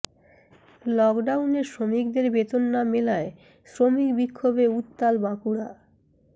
লকডাউনে শ্রমিকদের বেতন না মেলায় শ্রমিক বিক্ষোভে উত্তাল বাঁকুড়া